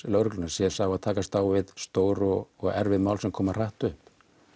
lögreglunnar sé sá að takast á við stór og erfið mál sem koma hratt upp